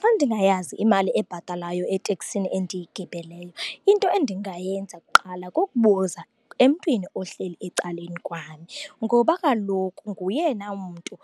Xa ndingayazi imali ebhatalwayo eteksini endiyigibeleyo, into endingayenza kuqala kukubuza emntwini ohleli ecaleni kwami. Ngoba kaloku ngoyena mntu